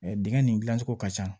Dingɛn nin gilan cogo ka ca